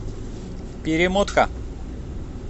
перемотка